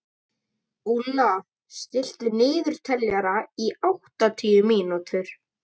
Úlla, stilltu niðurteljara á áttatíu mínútur.